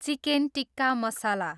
chicken tikka मसला